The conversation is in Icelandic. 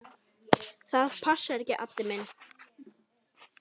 Það passar ekki, Addi minn.